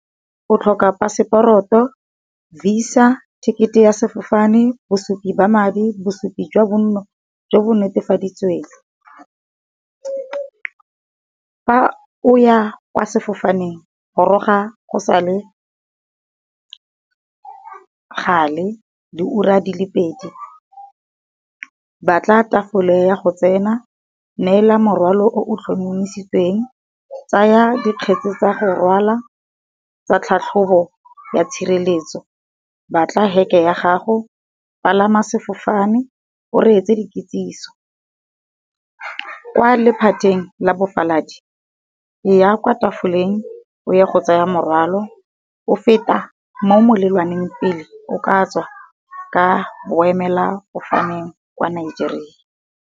O tlhoka phaseporoto, Visa, ticket e ya sefofane, bosupi ba madi, bosupi jwa bonno jo bo netefaditsweng. Fa o ya kwa sefofaneng goroga go sa le gale diura di le pedi. Batla tafole ya go tsena, neela morwalo o tlhomamisitsweng, tsaya dikgetse tsa go rwala tsa tlhatlhobo ya tshireletso, batla ge ke ya gago, palama sefofane, o reetse di kitsiso. Kwa lephateng la bofaladi eya kwa tafoleng oye go tsaya morwalo, o feta mo molelwaneng pele o ka tswa ka boemela fofaneng kwa Nigeria.